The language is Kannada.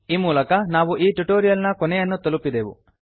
ಈ ಮೂಲಕ ನಾವು ಈ ಟ್ಯುಟೋರಿಯಲ್ ನ ಕೊನೆಯನ್ನು ತಲುಪಿದೆವು